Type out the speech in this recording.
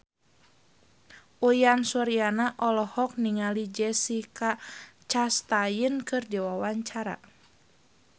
Uyan Suryana olohok ningali Jessica Chastain keur diwawancara